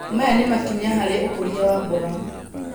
Maya nĩ makinya harĩ ũkũria wa mboga.